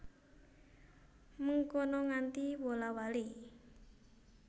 Mengkono nganti wola wali